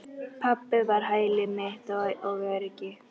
Pabbi var hæli mitt og öryggi.